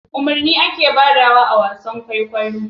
Umarni ake badawa awasan kwaikwayon kwaikwayo